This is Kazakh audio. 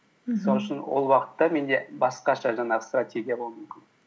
мхм сол үшін ол уақытта менде басқаша жаңағы стратегия болуы мүмкін